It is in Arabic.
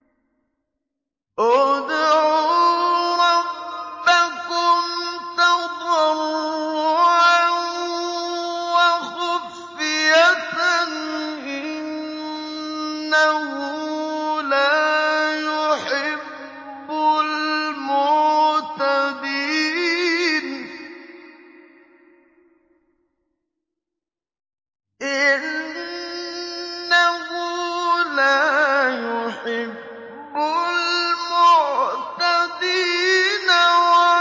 ادْعُوا رَبَّكُمْ تَضَرُّعًا وَخُفْيَةً ۚ إِنَّهُ لَا يُحِبُّ الْمُعْتَدِينَ